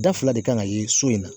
Da fila de kan ka ye so in na